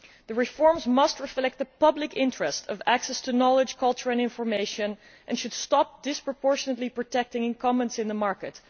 The reforms must reflect the public interest of access to knowledge, culture and information and the need to stop disproportionately protecting incumbents in the market.